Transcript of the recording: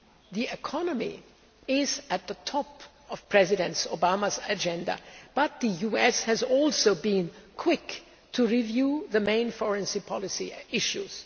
The economy is at the top of President Obama's agenda, but the US has also been quick to review the main foreign policy issues.